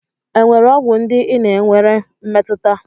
Enwere ọgwụ ndị ị na-enwere mmetụta?